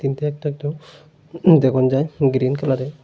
কিন্তু একটা একটা উম দেখন যায় গ্রীন কালারের।